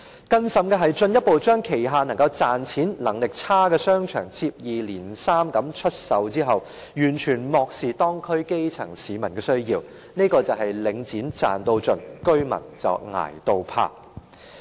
更甚的是，領展進一步將旗下賺錢能力較差的商場接二連三地出售，完全漠視當區基層市民的需要，這便是領展"賺到盡"，居民"捱到怕"。